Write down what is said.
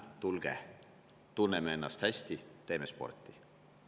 Tulge, tunneme ennast hästi, teeme sporti!